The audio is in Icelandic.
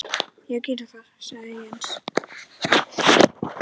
Já gerum það sagði Jens.